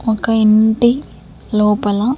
ఒక ఇంటి లోపల--